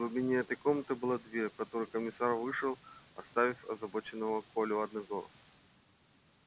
в глубине этой комнаты была дверь в которую комиссар вышел оставив озабоченного колю одного